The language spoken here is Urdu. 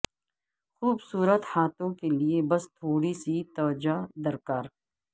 خوبصورت ہاتھوں کے لیے بس تھوڑی سی توجہ درکار